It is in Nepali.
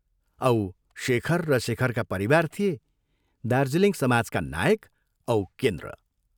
औ शेखर र शेखरका परिवार थिए दार्जीलिङ समाजका नायक औ केन्द्र।